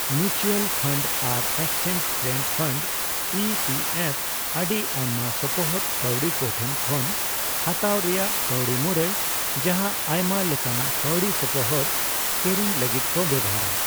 Mutual fund ᱟᱨ exchange traded fund (E T F) ᱟᱹᱰᱤ ᱟᱭᱢᱟ ᱥᱚᱯᱚᱦᱚᱫ ᱠᱟᱹᱣᱰᱤ ᱠᱚᱴᱷᱮᱱ ᱠᱷᱚᱱ ᱦᱟᱛᱟᱣ ᱨᱮᱭᱟᱜ ᱠᱟᱹᱣᱰᱤ ᱢᱩᱨᱟᱹᱭ, ᱡᱟᱦᱟ ᱟᱭᱢᱟ ᱞᱮᱠᱟᱱᱟᱜ ᱠᱟᱹᱣᱰᱤ ᱥᱚᱯᱚᱦᱚᱫ ᱠᱮᱨᱮᱧ ᱞᱟᱹᱜᱤᱫ ᱠᱚ ᱵᱮᱣᱦᱟᱨᱟ ᱾